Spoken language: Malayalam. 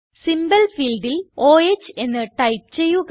സിംബോൾ ഫീൽഡിൽ o ഹ് എന്ന് ടൈപ്പ് ചെയ്യുക